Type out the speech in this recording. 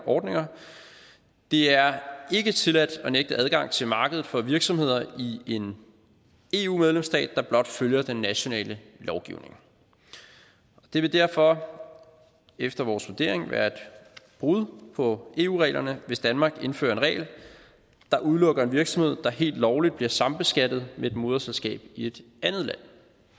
ordninger det er ikke tilladt at nægte adgang til markedet for virksomheder i en eu medlemsstat der blot følger den nationale lovgivning det vil derfor efter vores vurdering være et brud på eu reglerne hvis danmark indfører en regel der udelukker en virksomhed der helt lovligt bliver sambeskattet med et moderselskab i et andet land